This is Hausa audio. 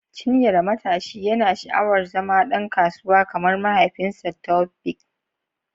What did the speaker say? Chinyere, matashi, yana sha’awar zama ɗan kasuwa kamar mahaifinsa, Taofiq.